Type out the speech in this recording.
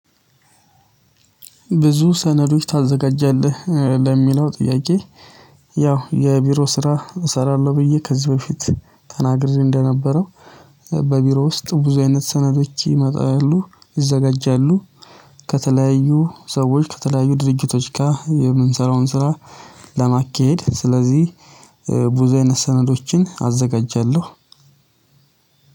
ብዙ ሰነዶች ታዘጋጃለህ ለሚለው ጥያቄ? ያው የቢሮ ስራ እሰራለሁ ብዬ ከዚህ በፊት ተናግሬ እንደነበረው። በቢሮ ውስጥ ብዙ አይነት ሰነዶች ይመጣሉ ይዘጋጃሉ። ከተለያዩ ሰዎች ከተለያዩ ድርጅቶች ጋር የምንሰራውን ስራ። ለማካሄድ ስለዚህ ብዙ አይነት ሰነዶችን አዘጋጃለሁ።